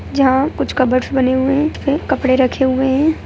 जहाँ कुछ कबर्डस बने हुए है उस पे कपड़े रखे हुए है ।